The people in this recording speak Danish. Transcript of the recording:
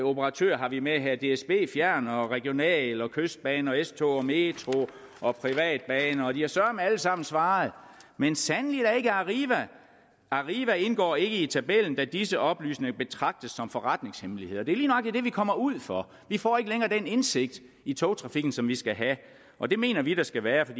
operatører har vi med her dsb fjern og regionaltog kystbane og s tog og metro og privatbaner og de har søreme alle sammen svaret men sandelig ikke arriva arriva indgår ikke i tabellen da disse oplysninger betragtes som forretningshemmeligheder det er lige nøjagtig det vi kommer ud for vi får ikke længere den indsigt i togtrafikken som vi skal have og det mener vi der skal være for